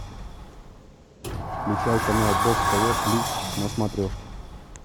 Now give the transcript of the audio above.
включай канал бокс тв плюс на смотрешке